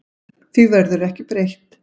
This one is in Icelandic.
Því verði ekki breytt.